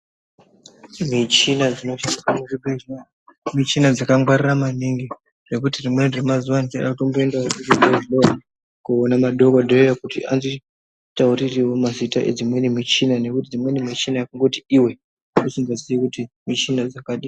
Michina dzinoshandiswa muchibhedhlera, michina dzakangwarira maningi zvekuti rimweni remazuva ndichada kutomboendawo kuchibhedhlera koona madhogodheya kuti anditaurirewo mazita, edzimweni michina ngekuti dzimweni michina kungoti iwe, usingaziyi kuti michina dzakadii.